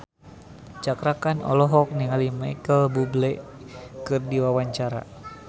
Cakra Khan olohok ningali Micheal Bubble keur diwawancara